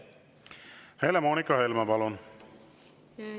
Helle-Moonika Helme, palun!